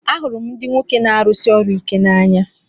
Ahụrụ m ndị nwoke na-arụsi ọrụ ike n'anya